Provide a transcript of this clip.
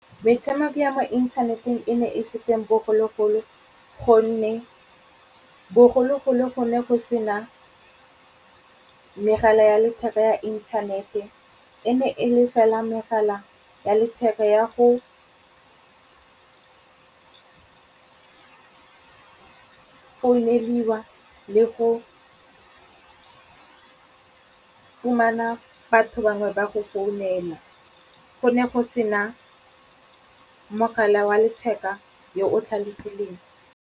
Metshameko ya mo inthaneteng e ne e se teng bogologolo gonne bogologolo go ne go sena megala ya letheka ya inthanete. E ne e le fela megala ya letheka ya go founeliwa le go fumana batho bangwe ba go founela. Go ne go sena mogala wa letheka yo o tlhalefileng.